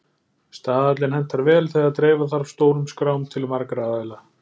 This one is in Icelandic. Staðallinn hentar vel þegar dreifa þarf stórum skrám til margra aðila.